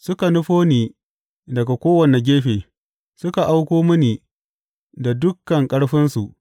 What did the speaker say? Suka nufo ni daga kowane gefe; suka auko mini da dukan ƙarfinsu.